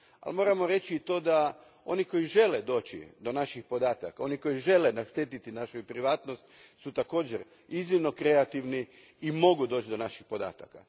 Moramo reći da oni koji žele doći do naših podataka, oni koji žele naštetiti našoj privatnosti također su iznimno kreativni i mogu doći do naših podataka.